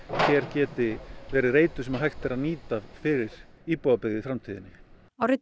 hér geti verið reitur sem hægt er að nýta fyrir íbúðabyggð í framtíðinni árið